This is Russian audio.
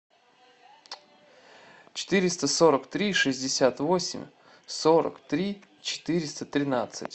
четыреста сорок три шестьдесят восемь сорок три четыреста тринадцать